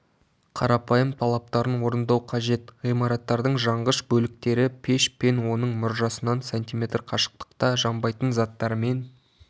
қарапайым талаптарын орындау қажет ғимараттың жанғыш бөліктері пеш пен оның мұржасынан см қашықтықта жанбайтын заттармен